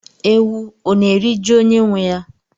Ewu ọ na-eri ji onye nwe ya?